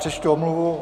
Přečtu omluvu.